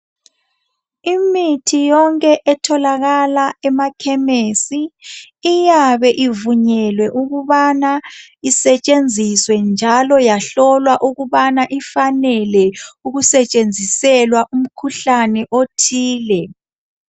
imithi yonke etholakala ema khemesi iyabe ivunyelwe ukubana isetshenziswe njalo yahlolwa ukubana ifanele ukusetshenziselwa umkhuhlane othile